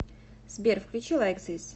сбер включи лайк зис